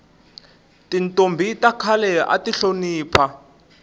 tintombhi ta khale ati hlonipha